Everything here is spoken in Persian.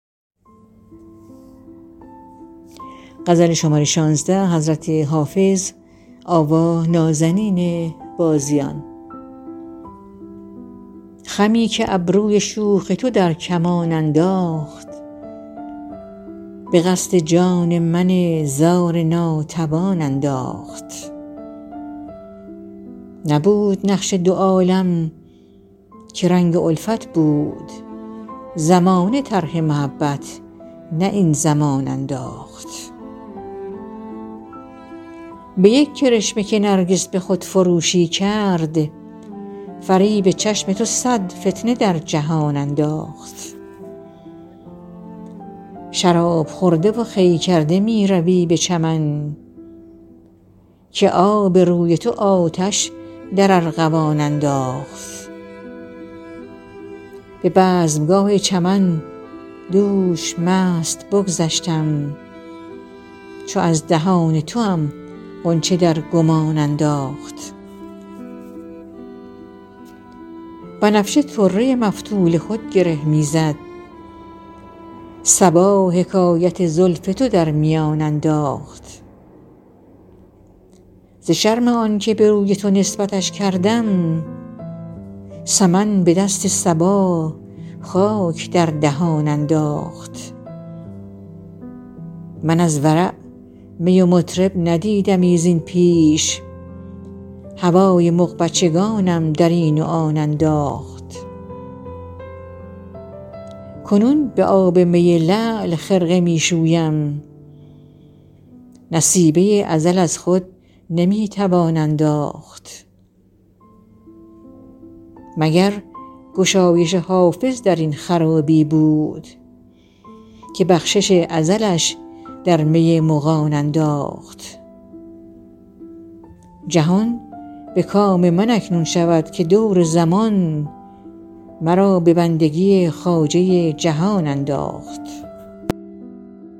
خمی که ابروی شوخ تو در کمان انداخت به قصد جان من زار ناتوان انداخت نبود نقش دو عالم که رنگ الفت بود زمانه طرح محبت نه این زمان انداخت به یک کرشمه که نرگس به خودفروشی کرد فریب چشم تو صد فتنه در جهان انداخت شراب خورده و خوی کرده می روی به چمن که آب روی تو آتش در ارغوان انداخت به بزمگاه چمن دوش مست بگذشتم چو از دهان توام غنچه در گمان انداخت بنفشه طره مفتول خود گره می زد صبا حکایت زلف تو در میان انداخت ز شرم آن که به روی تو نسبتش کردم سمن به دست صبا خاک در دهان انداخت من از ورع می و مطرب ندیدمی زین پیش هوای مغبچگانم در این و آن انداخت کنون به آب می لعل خرقه می شویم نصیبه ازل از خود نمی توان انداخت مگر گشایش حافظ در این خرابی بود که بخشش ازلش در می مغان انداخت جهان به کام من اکنون شود که دور زمان مرا به بندگی خواجه جهان انداخت